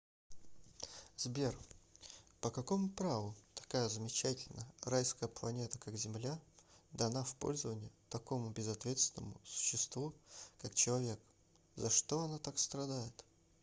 сбер по какому праву такая замечательная райская планета как земля дана в пользование такому безответственному существу как человекза что она так страдает